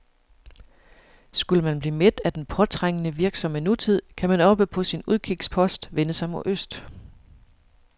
Skulle man blive mæt af den påtrængende, virksomme nutid, kan man oppe på sin udkigspost vende sig mod øst.